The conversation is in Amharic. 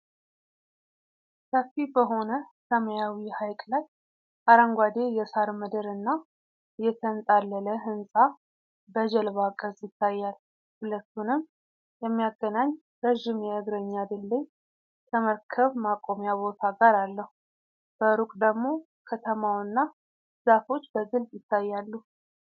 ሰፊ በሆነ ሰማያዊ ሐይቅ ላይ አረንጓዴ የሣር ምድር እና የተንጣለለ ሕንፃ በጀልባ ቅርፅ ይታያል። ሁለቱንም የሚያገናኝ ረዥም የእግረኛ ድልድይ ከመርከብ ማቆሚያ ቦታ ጋር አለው። በሩቅ ደግሞ ከተማውና ዛፎች በግልጽ ይታያሉ።